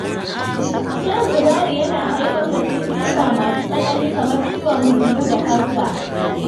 Shan sigari yana haifar da cututtuka masu tsanani kamar ciwon huhu da kansa.